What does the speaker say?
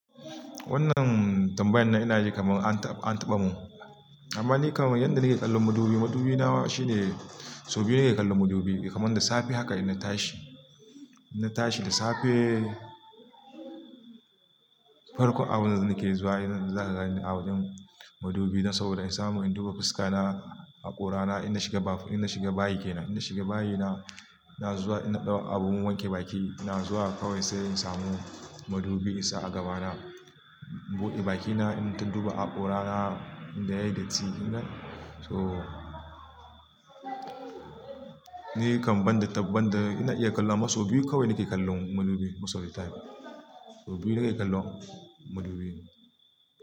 Wannan tambayan nan ina ji kamar an taɓa, an taɓa mu. Amma ni kamar yadda nake kallo madubi, madubi na shi ne sau biyu nake kallo madubi. Ya kaman da safe haka ina tashi, in na tashi da safe farkon abin da nake zuwa ina za ka gani abin madubi. Na saurara, in samu in duba fuska na, hakora na, ina shiga bafi, ina shiga bayi ke nan. Ina shiga bayi na, na zuwa ina ɗauka abun wanke baki, ina zuwa kawai sai in samu madubi in sa a gaba na. Buɗe bakina, ina duba hakora na, ina yayyi datti ina. To ni kam ban da, ban da ina iya kallo a maso biyu kawai nake kallo madubi most of the time Sau biyu nake kallo madubi.